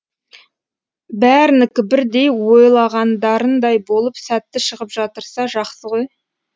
бәрінікі бірдей ойлағандарындай болып сәтті шығып жатырса жақсы ғой